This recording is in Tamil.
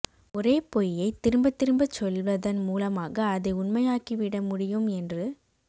ஒரே பொய்யைத் திரும்பத் திரும்பச் சொல்வதன் மூலமாக அதை உண்மையாக்கிவிட முடியும் என்று